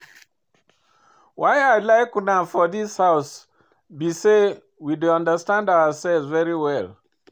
Why I like una for dis house be say we dey understand ourselves very well